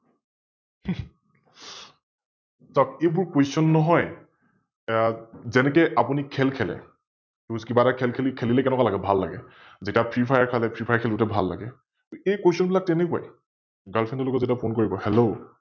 চাওক এইবোৰ Question নহয়, যেনেকে আপুনি খেল খেলে, কিবা এটা খেল খেলিলে কেনেকোৱা লাগে? ভাল লাগে । যেতিয়া ফিৰ ফায়াৰ খেলে, ফিৰ ফায়াৰ খেলোতে ভাল লাগে, এই Question বিলাক তেনেকোৱাই । Girlfriend ৰ লগত যেতিয়া Phone কাৰিব Hello